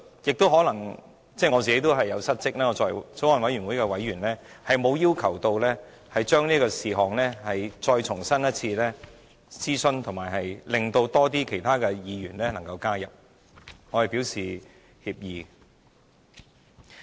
就此，我可能也有失職，我作為法案委員會委員，也沒有要求就此事項重新諮詢，使更多其他議員可以加入，我對此表示歉意。